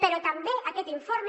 però també aquest informe